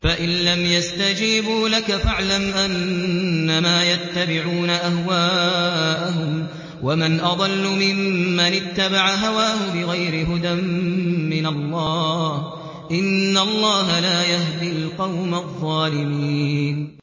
فَإِن لَّمْ يَسْتَجِيبُوا لَكَ فَاعْلَمْ أَنَّمَا يَتَّبِعُونَ أَهْوَاءَهُمْ ۚ وَمَنْ أَضَلُّ مِمَّنِ اتَّبَعَ هَوَاهُ بِغَيْرِ هُدًى مِّنَ اللَّهِ ۚ إِنَّ اللَّهَ لَا يَهْدِي الْقَوْمَ الظَّالِمِينَ